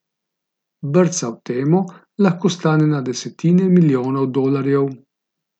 Brca v temo lahko stane na desetine milijonov dolarjev.